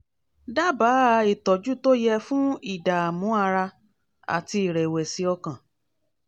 dábàá ìtọ́jú tó yẹ fún ìdààmú ara àti ìrẹ̀wẹ̀sì ọkàn